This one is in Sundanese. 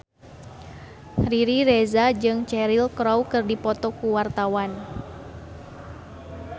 Riri Reza jeung Cheryl Crow keur dipoto ku wartawan